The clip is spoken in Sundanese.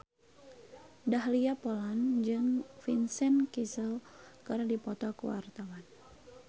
Dahlia Poland jeung Vincent Cassel keur dipoto ku wartawan